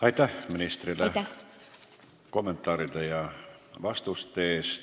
Aitäh ministrile kommentaaride ja vastuste eest!